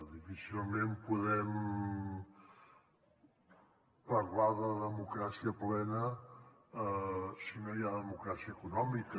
difícilment podem parlar de democràcia plena si no hi ha democràcia econòmica